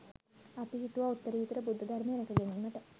අපි හිතුවා උත්තරීතර බුද්ධ ධර්මය රැකගැනීමට